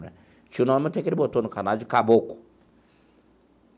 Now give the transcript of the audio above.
Tinha um nome até que ele botou no canário, de Caboclo.